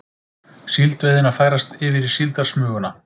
Síldveiðin að færast yfir í síldarsmuguna